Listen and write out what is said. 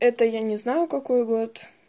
это я не знаю какой год